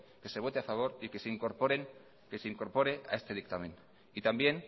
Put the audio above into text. que se vote a favor y que se incorpore a este dictamen y también